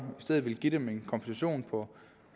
stedet give dem en kompensation på